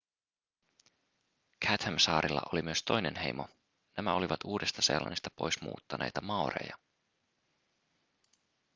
chathamsaarilla oli myös toinen heimo nämä olivat uudesta-seelannista pois muuttaneita maoreja